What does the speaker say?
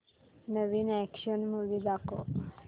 नवीन action movie दाखव